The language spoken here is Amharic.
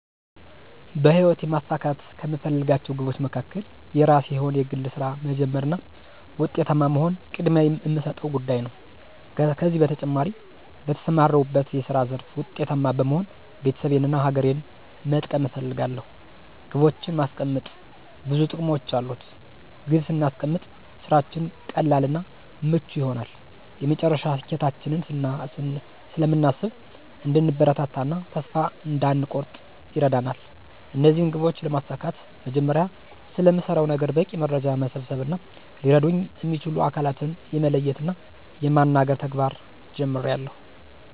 በሕይወቴ ማሳካት ከምፈልጋቸው ግቦች መካከል የራሴ የሆነ የግል ሥራ መጀመር እና ዉጤታማ መሆን ቅድሚያ እምሰጠው ጉዳይ ነው። ከዚህ በተጨማሪ በተሰማራሁበት የስራ ዘርፍ ዉጤታማ በመሆን ቤተሰቤን እና ሀገሬን መጥቀም እፈልጋለሁ። ግቦችን ማስቀመጥ ብዙ ጥቅሞች አሉት። ግብ ስናስቀምጥ ስራችን ቀላል እና ምቹ ይሆናል፤ የመጨረሻ ስኬታችንን ስለምናስብ እንድንበረታ እና ተስፋ እንዳንኮርጥ ይረዳናል። እነዚህን ግቦች ለማሳካት መጀመሪያ ስለምሰራው ነገር በቂ መረጃ መሰብሰብ እና ሊረዱኝ እሚችሉ አካላትን የመለየት እና የማናገር ተግባር ጀምሬአለሁ።